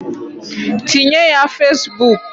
Tinye ya Fesbuk.